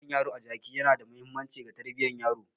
Jan yaro a jiki yana da mahimmanci ga tarbiyyar yaro.